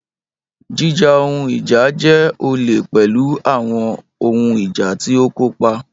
Jíjà ohun ìjà jẹ́ olè pẹ̀lú àwọn ohun ìjà tí ó kópa.